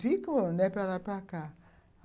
Ficam, né, para lá e para cá.